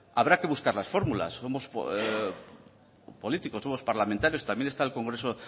habrá que buscar las fórmulas somos políticos somos parlamentarios también está el congreso